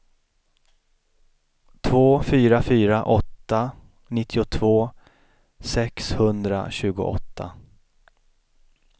två fyra fyra åtta nittiotvå sexhundratjugoåtta